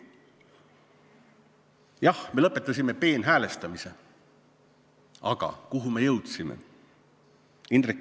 Jah, me lõpetasime peenhäälestamise, aga kuhu me jõudsime?